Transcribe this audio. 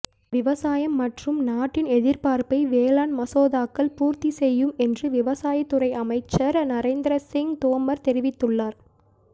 விவசாயம் மற்றும் நாட்டின் எதிர்ப்பார்ப்பை வேளாண் மசோதாக்கள் பூர்த்தி செய்யும் என்று விவசாயத்துறை அமைச்சர் நரேந்திர சிங் தோமர் தெரிவித்துள்ளார்